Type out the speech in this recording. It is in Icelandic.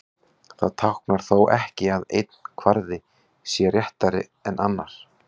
Það táknar þó ekki að einn kvarði sé réttari en annar.